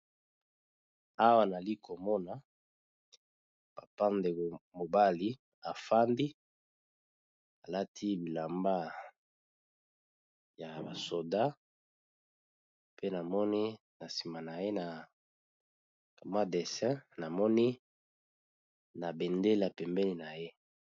Awa nali komona bapa ndeko mobali afandi alati bilamba ya basoda pe namoni na sima na ye na mwa dessin namoni na bendela pembeni na ye